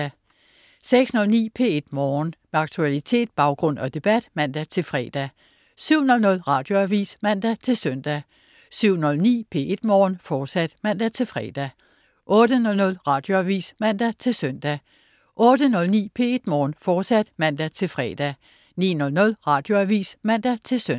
06.09 P1 Morgen. Med aktualitet, baggrund og debat (man-fre) 07.00 Radioavis (man-søn) 07.09 P1 Morgen, fortsat (man-fre) 08.00 Radioavis (man-søn) 08.09 P1 Morgen, fortsat (man-fre) 09.00 Radioavis (man-søn)